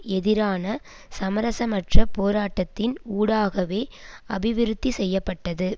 எதிரான சமரசமற்ற போராட்டத்தின் ஊடாகவே அபிவிருத்தி செய்ய பட்டது